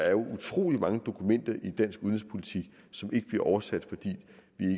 er utrolig mange dokumenter i dansk udenrigspolitik som ikke bliver oversat fordi